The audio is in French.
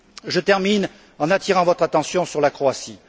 Je termine en attirant votre attention sur la Croatie.